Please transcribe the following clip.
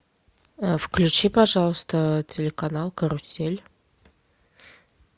включи пожалуйста телеканал карусель